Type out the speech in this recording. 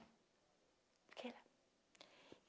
Fiquei lá.